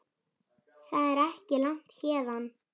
Það er ekki langt héðan.